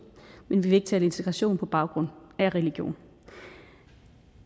men vi tale integration på baggrund af religion